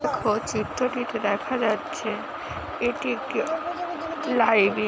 ও চিত্রটিতে দেখা যাচ্ছে এটি একটি লাইভ -এ ।